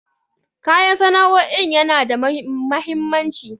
Koyan sana'o'in yana da mahimmanci.